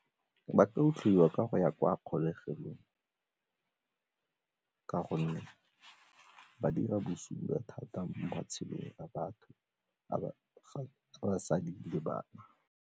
Ba tla otliwa ka go ya kwa kgolegelong ka gonne ba dira bosula thata mo matshelong a batho, a basadi le bana.